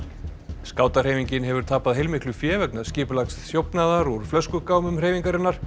skátahreyfingin hefur tapað heilmiklu fé vegna skipulagðs þjófnaðar úr flöskugámum hreyfingarinnar